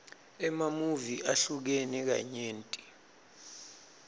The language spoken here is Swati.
emamuvi ahlukene kanyenti